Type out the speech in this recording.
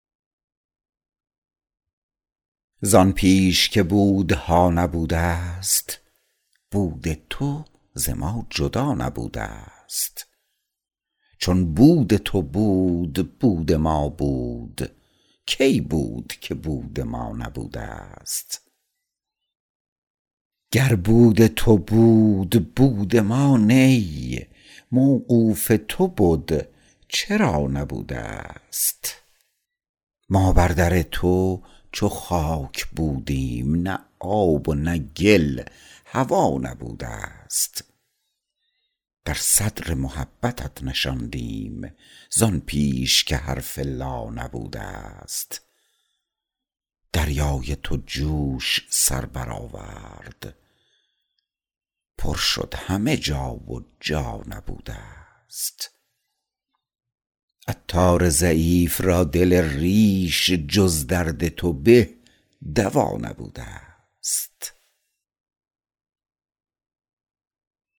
زان پیش که بودها نبودست بود تو ز ما جدا نبودست چون بود تو بود بود ما بود کی بود که بود ما نبودست گر بود تو بود بود ما نی موقوف تو بد چرا نبودست ما بر در تو چو خاک بودیم نه آب و نه گل هوا نبودست در صدر محبتت نشاندیم زان پیش که حرف لا نبودست دریای تو جوش سر برآورد پر شد همه جا و جا نبودست عطار ضعیف را دل ریش جز درد تو به دوا نبودست